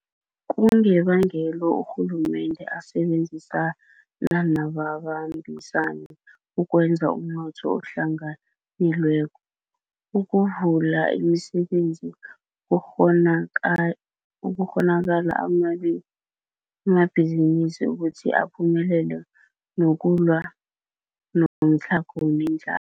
Kungebangelo urhulumende asebenzisana nababambisani ukwakha umnotho ohlanganyelweko, ukuvula imisebenzi, ukukghonakalisa amabhizinisi ukuthi aphumelele nokulwa nomtlhago nendla